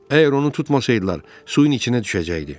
Əgər onu tutmasaydılar, suyun içinə düşəcəkdi.